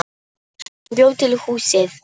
Hann bjó til húsið.